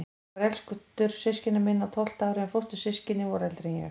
Ég var elstur systkina minna, á tólfta ári, en fóstur- systkinin voru eldri en ég.